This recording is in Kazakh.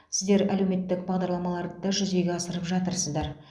сіздер әлеуметтік бағдарламаларды да жүзеге асырып жатырсыздар